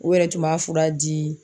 U yɛrɛ tun b'a fura di.